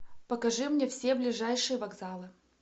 покажи мне все ближайшие вокзалы